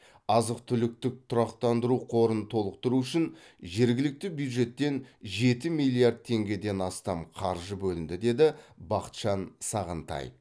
азық түліктік тұрақтандыру қорын толықтыру үшін жергілікті бюджеттен жеті миллиард теңгеден астам қаржы бөлінді деді бақытжан сағынтаев